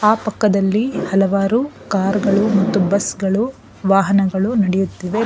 ಅಕ್ಕ ಪಕ್ಕದಲ್ಲಿ ಹಲವರು ಕಾರು ಗಳು ಮತ್ತು ಬಸ್ಸು ಗಳು ವಾಹನಗಳು ನಡೆಯುತ್ತಿವೆ.